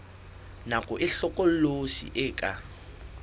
nako e hlokolosi e ka